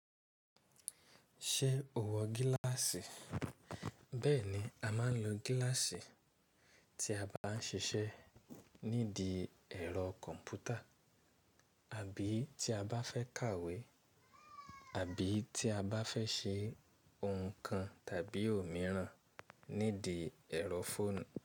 Ṣé o wọ gíláàsì? Bẹ́ẹ̀ni, a máa ń lo gíláàsì tí a bá ń ṣiṣẹ́ nídìí ẹ̀rọ kọ̀m̀pútà àbí tí a bá fẹ́ kàwé àbí tí a bá fẹ́ ṣe ohun kan tàbí òmíràn nídìí ẹ̀rọ fóònù.